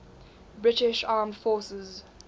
british armed forces